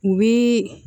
U bi